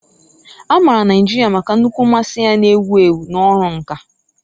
A maara Naijiria maka nnukwu mmasị ya na egwu egwu na ọrụ nka